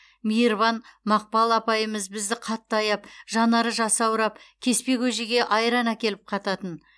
мейірбан мақпал апайымыз бізді қатты аяп жанары жасаурап кеспе көжеге айран әкеліп қататын